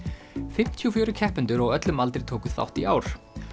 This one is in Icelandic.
fimmtíu og fjórir keppendur á öllum aldri tóku þátt í ár